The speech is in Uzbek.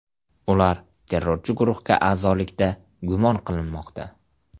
Ular terrorchi guruhga a’zolikda gumon qilinmoqda.